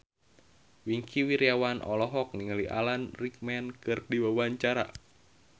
Wingky Wiryawan olohok ningali Alan Rickman keur diwawancara